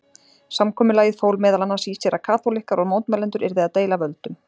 Samkomulagið fól meðal annars í sér að kaþólikkar og mótmælendur yrðu að deila völdum.